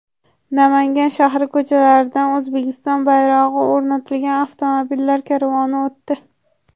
Namangan shahri ko‘chalaridan O‘zbekiston bayrog‘i o‘rnatilgan avtomobillar karvoni o‘tdi.